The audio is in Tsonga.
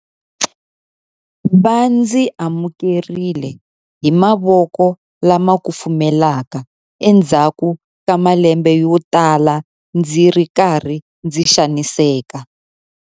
Va ndzi amukerile hi mavoko lama kufumelaka endzhaku ka malembe yotala ndzi ri karhi ndzi xaniseka.